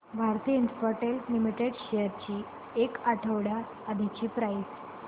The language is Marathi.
भारती इन्फ्राटेल लिमिटेड शेअर्स ची एक आठवड्या आधीची प्राइस